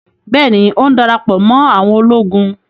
Bẹ́ẹ̀ni, ó ń darapọ̀ mọ́ àwọn ológun